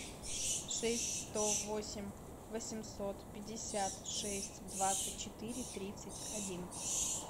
шесть сто восемь восемьсот пятьдесят шесть двадцать четыре тридцать один